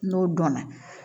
N'o dɔnna